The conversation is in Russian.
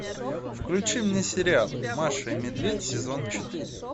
включи мне сериал маша и медведь сезон четыре